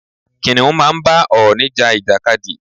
Kìnnìún máa ń bá ọ̀ọ̀nì ja ìjàkadì.